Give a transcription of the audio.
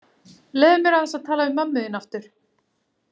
Leyfðu mér aðeins að tala við mömmu þína aftur.